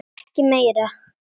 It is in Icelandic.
Ekki meira.